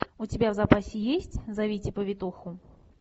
у тебя в запасе есть зовите повитуху